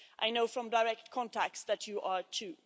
I know from direct contacts that you are too.